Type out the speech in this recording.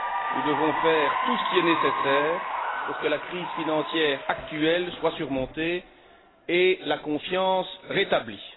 Nous devons faire tout ce qui est nécessaire pour que la crise financière actuelle soit surmontée et la confiance rétablie.